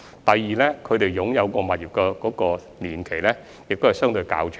第二，他們擁有物業的年期也相對較長。